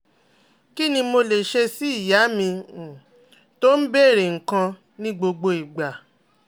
Kí ni mo lè ṣe sí ìyá mi um tó ń bèèrè nǹkan ní gbogbo ìgbà?